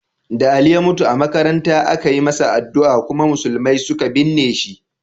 Da Ali ya mutu a makaranta, aka yi masa addu'a kuma musulmai suka binne shi.